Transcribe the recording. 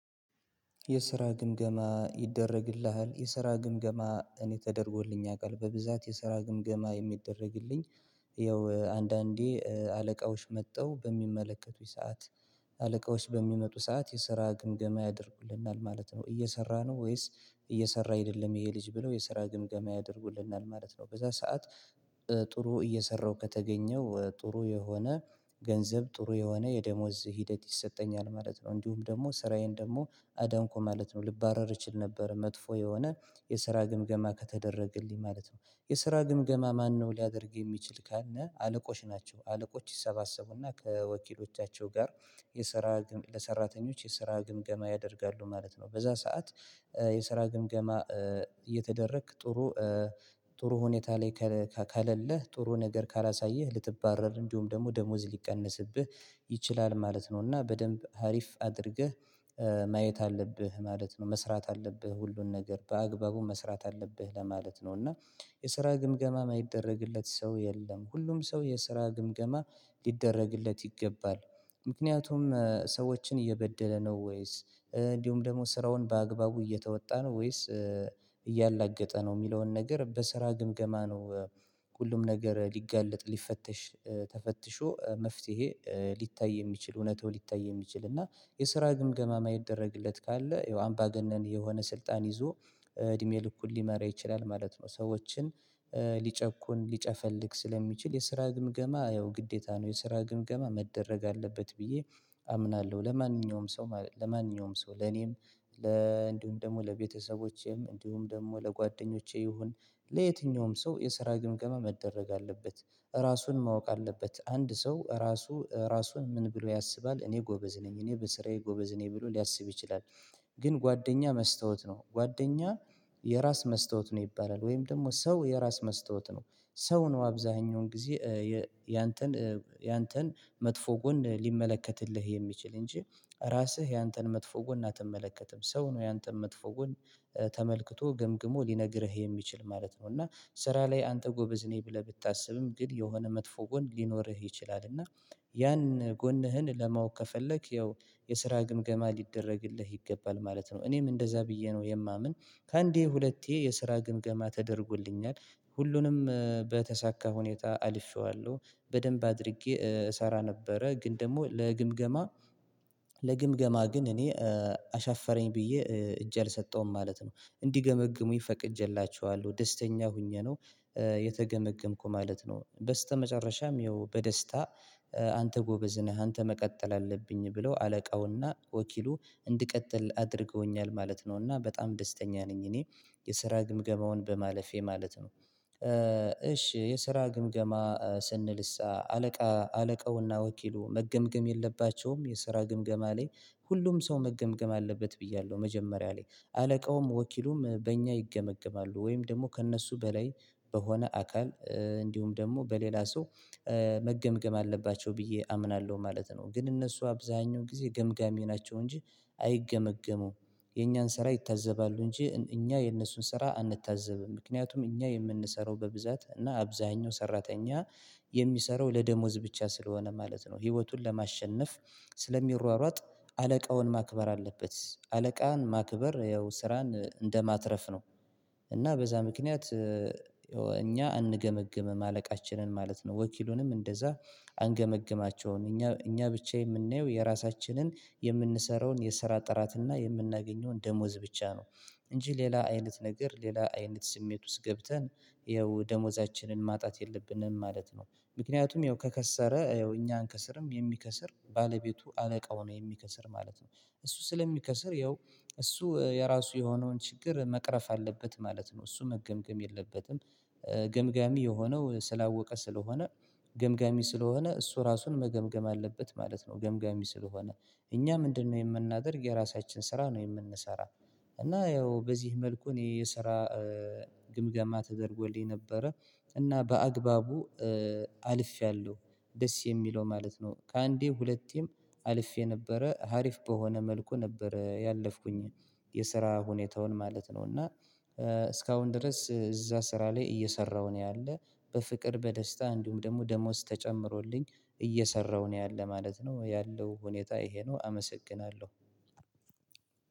የስራ ግምገማ ይደረግልሃል የስራ ግምገማ እኔ ተደርጎልኝ ያውቃል። በብዛት የስራ ግምገማ የሚደረግልኝ ያው አንዳንዴ አለቃዎች መጥተው በሚመለከቱኝ ሰዓት አለቃዎች በሚመጡ ሰዓት የስራ ግምገማ ያደርጉልናል ማለት ነው። እየሰራ ነው ወይስ እየሰራ አይደለም ይሄ ልጅ ብለው የስራ ግምገማ ያደርጉልናል ማለት ነው በዛ ሰዓት ጥሩ እየሰራው ከተገኘሁ ጥሩ የሆነ ገንዘብ ጥሩ የሆነ የደሞዝ ሂደት ይሰጠኛል ማለት ነው። እንዲሁም ደግሞ ስራዬን ደግሞ አዳንኩ ማለት ነው ልባረር እችል ነበር መጥፎ የሆነ የስራ ግምገማ ከተደረገልኝ ማለት ነው የስራ ግምገማ ማነው ሊያደርግ የሚችል ካለ አለቆች ናቸው አለቆች ይሰባሰቡና ከወኪሎቻቸው ጋር የስራ ለሰራተኞች የሰራ ግምገማ ያደርጋሉ ማለት ነው። በዛ ሰዓት የሰራ ግምገማ እየተደረክ ጥሩ ሁኔታ ላይ ከሌለለህ ጥሩ ነገር ካላሳየህ ልትባረር እንዲሁም ደግሞ ደሞዝ ሊቀነስብህ ይችላል ማለት ነው። እና በደንብ ሀሪፍ አድርገህ ማየት አለብህ ማለት ነው መስራት አለብህ ሁሉን ነገር በአግባቡ መስራት አለብህ ለማለት ነው እና የስራ ግምገማ የማይደረግለት ሰው የለም። ሁሉም ሰው የስራ ግምገማ ሊደረግለት ይገባል ምክንያቱም ሰዎችን እየበደለ ነው ወይስ እንዲሁም ደግሞ ስራውን በአግባቡ እየተወጣ ነው ወይስ እያላገጠ ነው የሚለውን ነገር በስራ ግምገማ ነው ሁሉም ነገር ሊጋለጥ ሊፈተሽ ተፈትሾ መፍትሄ ሊታይ የሚችል እውነታው ሊታይ የሚችል። እና የስራ ግምገማ ማይደረግለት ካለ ያው አምባገነን የሆነ ስልጣን ይዞ እድሜ ልኩን ሊመራ ይችላል ማለት ነው ሰዎችን ሊጨቁን ሊጨፈልቅ ስለሚችል የስራ ግምገማ ያው ግዴታ ነው። የስራ ግምገማ መደረግ አለበት ብዬ አምናለሁ ለማንኛውም ሰው ለኔም እንዲሁም ደግሞ ለቤተሰቦቼም እንዲሁም ደግሞ ለጓደኞቼ ይሁን ለየትኛውም ሰው የሰራ ግምገማ መደረግ አለበት ራሱን ማወቅ አለበት። አንድ ሰው ራሱ ራሱን ምን ብሎ ያስባል እኔ ጎበዝ ነኝ እኔ በስራዬ ጎበዝ ነኝ ብሎ ሊያስብ ይችላል። ግን ጓደኛ መስታወት ነው ጓደኛ የራስ መስታወት ነው ይባላል። ወይም ደግሞ ሰው የራስ መስታወት ነው። ሰው ነው አብዛኛውን ጊዜ ያንተን መጥፎ ጎን ሊመለከትልህ የሚችል እንጂ ራስህ ያንተን መጥፎ ጎን አትመለከትም። ሰው ነው ያንተን መጥፎ ጎን ተመልክቶ ገምግሞ ሊነግርህ የሚችል ማለት ነው። እና ስራ ላይ አንተ ጎበዝ ነኝ ብለህ ብታስብም ግን የሆነ መጥፎ ጎን ሊኖርህ ይችላል እና ያን ጎንህን ለማወቅ ከፈለክ ያው የስራ ግምገማ ሊደረግልህ ይገባል ማለት ነው እኔም እንደዛ ብዬ ነው የማምን። ከአንዴ ሁለቴ የስራ ግምገማ ተደርጎልኛል። ሁሉንም በተሳካ ሁኔታ አልፌዋለሁ። በደንብ አድርጌ እሰራ ነበረ ግን ደግሞ ለግምገማ ግን እኔ አሻፈረኝ ብዬ እጄ አልሰጠውም። ማለት ነው እንዲገመግሙኝ ፈቅጄላቸዋለሁ ደስተኛ ሆኜ ነው የተገመገምኩ ማለት ነው። በስተመጨረሻም ያው በደስታ አንተ ጎበዝ ነህ አንተ መቀጠል አለብህ ብለው አለቃውና ወኪሉ እንድቀጥል አድርገውኛል ማለት ነው እና በጣም ደስተኛ ነኝ እኔ። የስራ ግምገማውን በማለፌ ማለት ነው እሺ የስራ ግምገማ ስንልሳ አለቃ አለቃውና ወኪሉ መገምገም የለባቸውም የስራ ግምገማ ላይ ሁሉም ሰው መገምገም አለበት ብያለሁ መጀመሪያ ላይ አለቃውም ወኪሉም በእኛ ይገመገማሉ። ወይም ደግሞ ከእነሱ በላይ በሆነ አካል እንዲሁም ደግሞ በሌላ ሰው። መገምገም አለባቸው ብዬ አምናለሁ ማለት ነው ግን እነሱ አብዛኛው ጊዜ ገምጋሚ ናቸው እንጂ አይገመገሙም። የኛን ስራ ይታዘባሉ እንጂ እኛ የእነሱን ስራ አንታዘብም ምክንያቱም እኛ የምንሰራው በብዛት እና አብዛኛው ሰራተኛ የሚሰራው ለደሞዝ ብቻ ስለሆነ ማለት ነው። ህይወቱን ለማሸነፍ ስለሚሯሯጥ አለቃውን ማክበር አለበት። አለቃን ማክበር ያው ስራን እንደማትረፍ ነው። እና በዛ ምክንያት እኛ አንገመግምም አለቃችንን ማለት ነው ወኪሉንም እንደዛ። አንገመግማቸውም እኛ ብቻ የምናየው የራሳችንን የምንሰራውን የስራ ጥራትና የምናገኘውን ደሞዝ ብቻ ነው። እንጂ ሌላ አይነት ነገር ሌላ አይነት ስሜት ውስጥ ገብተን ይኸው ደሞዛችንን ማጣት የለብንም ማለት ነው። ምክንያቱም ያው ከከሰረ እኛ አንከስርም የሚከስር ባለቤቱ አለቃው ነው የሚከስር ማለት ነው። እሱ ስለሚከስር ያው እሱ የራሱ የሆነውን ችግር መቅረፍ አለበት ማለት ነው እሱ መገምገም የለበትም። ገምጋሚ የሆነው ስላወቀ ስለሆነ ገምጋሚ ስለሆነ እሱ ራሱን መገምገም አለበት ማለት ነው ገምጋሚ ስለሆነ። እኛ ምንድነው የምናደርግ የራሳችን ስራ ነው የምንሰራ። እና ያው በዚህ መልኩን ይሄ የስራ ግምገማ ተደርጎልኝ ነበረ እና በአግባቡ አልፌያለሁ። ደስ የሚለው ማለት ነው ከአንዴ ሁለቴም አልፌ ነበረ ሀሪፍ በሆነ መልኩ ነበረ ያለፍኩኝ። የስራ ሁኔታውን ማለት ነው እና እስካሁን ድረስ እዛ ስራ ላይ እየሰራሁ ነው ያለ በፍቅር በደስታ እንዲሁም ደግሞ ደሞዝ ተጨምሮልኝ እየሰራሁ ነው ያለ ማለት ነው ያለው ሁኔታ ይሄ ነው አመሰግናለሁ።